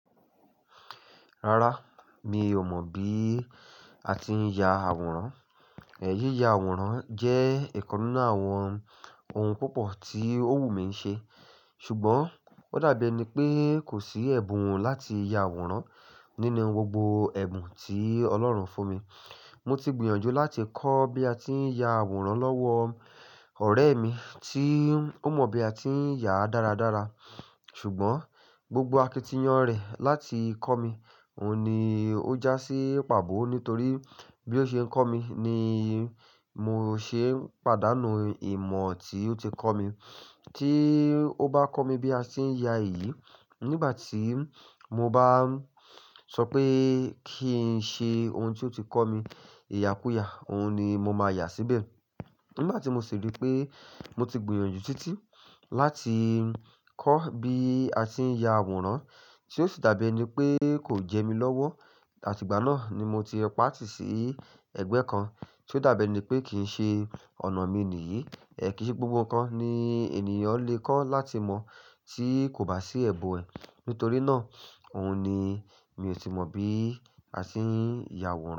Rárá, mi ò mọ̀ bí a ti ń ya àwòrán. Yíya àwòrán jẹ́ ìkan ninú àwọn ohun púpọ̀ tí òwú mi ṣe. Ṣùgbọ́n ó dàbí ẹni pé kò sí ẹ̀bùn láti ya àwòrán nínú gbogbo ẹ̀bùn tí Ọlọ́run fún mi. Mo ti gbìyànjú láti kọ́ bí a ti ń ya àwòrán lọ́wọ́ ọ̀rẹ́ mi tí ó mọ bí a ti ń yàá dáradára. Ṣùgbọ́n gbogbo akitiyan rẹ̀ láti kọ́ mi, òun ni ó já sí pàbọ́ nítorí bí ó ṣe ń kọ́ mi ni mo ṣe ń pàdánù ìmọ̀ tí ó ti kọ́ mi. Tí ó bá kọ́ mi bí a ti ń ya èyí, nígbà tí mo bá ń sọ pé kí n ṣe ohun tí ó ti kọ́ mi, ìyà kú yà, òun ni mo máa yà síbẹ̀. Nígbà tí mo sì rí pé mo ti gbìyànjú títí láti kọ́ bí a ti ń ya àwòrán tí ó sì dàbí ẹni pé kò jẹ mí lọ́wọ́, àtìgbà náà ni mo ti pa á tì sí ẹ̀gbẹ́ kan tí ó dàbí ẹni pé kì í ṣe ọ̀nà mi nìyí. Ẹ̀ kíi ṣe gbogbo nǹkan ni ènìyàn lè kọ́ láti mọ̀ tí kò bá sí ẹ̀bùn ẹ̀. Nítorí náà, òun ni mi ò tí mọ̀ bí a ti ń ya àwòrán.